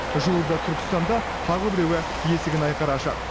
жуырда түркістанда тағы біреуі есігін айқара ашады